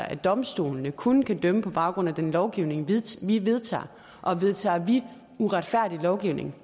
at domstolene kun kan dømme på baggrund af den lovgivning vi vedtager og vedtager vi uretfærdig lovgivning